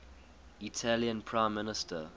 italian prime minister